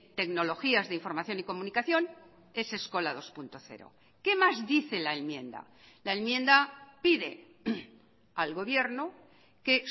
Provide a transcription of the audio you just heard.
tecnologías de información y comunicación es eskola dos punto cero qué más dice la enmienda la enmienda pide al gobierno que